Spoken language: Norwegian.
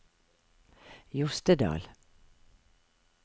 Jostedal